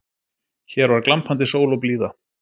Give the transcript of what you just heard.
Hér var glampandi sól og blíða